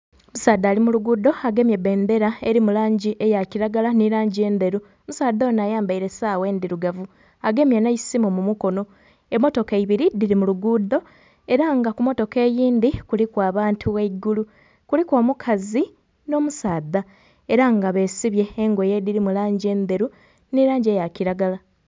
Omusaadha ali mu luguudo agemye bendera elimu langi eya kilagala nhi langi endheru. Omusaadha onho ayambaile saawa endhirugavu, agemye nh'eisimu mu mukono. Emmotoka ibiri dhiri mu luguudo, era nga ku mmotoka eyindhi kuliku abantu ghaigulu. Kuliku omukazi nh'omusaadha, era nga besibye engoye edhilimu langi endheru nhi langi eya kilagala.